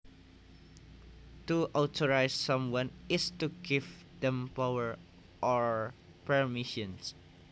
To authorise someone is to give them power or permission